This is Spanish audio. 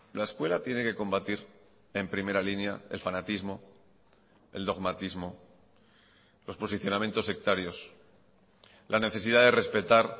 la escuela tiene que combatir en primera línea el fanatismo el dogmatismo los posicionamientos sectarios la necesidad de respetar